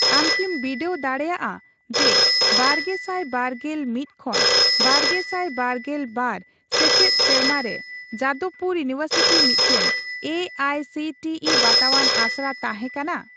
ᱟᱢ ᱠᱤᱢ ᱵᱤᱰᱟᱹᱣ ᱫᱟᱲᱮᱜᱼᱟ ᱡᱮ ᱵᱟᱨᱜᱮᱥᱟᱭ ᱵᱟᱨᱜᱮᱞ ᱢᱤᱛ ᱠᱷᱚᱱ ᱵᱟᱨᱜᱮᱥᱟᱭ ᱵᱟᱨᱜᱮᱞ ᱵᱟᱨ ᱥᱮᱪᱮᱫ ᱥᱮᱨᱢᱟᱨᱮ ᱡᱟᱫᱚᱵᱯᱩᱨ ᱤᱭᱩᱱᱤᱵᱷᱟᱨᱥᱤᱴᱤ ᱢᱤᱫᱴᱟᱝ A I C T E ᱵᱟᱛᱟᱣᱟᱱ ᱟᱥᱲᱟ ᱛᱟᱦᱮᱸ ᱠᱟᱱᱟ ?